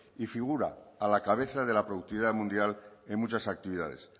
y figura a la cabeza de la productividad mundial en muchas actividades